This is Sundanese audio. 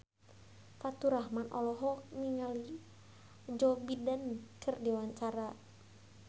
Faturrahman olohok ningali Joe Biden keur diwawancara